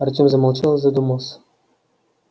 артем замолчал и задумался